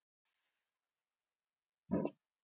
Arnarvatni